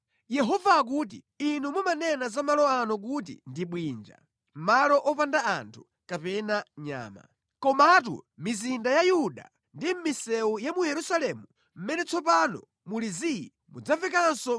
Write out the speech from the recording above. “Yehova akuti, ‘Inu mumanena za malo ano kuti ndi bwinja,’ malo opandamo anthu kapena nyama. Komatu mizinda ya Yuda ndi mʼmisewu ya mu Yerusalemu mʼmene tsopano muli zii mudzamvekanso